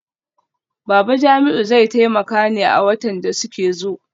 Babu Jamiu zai taimaka ne a watan da suke zo.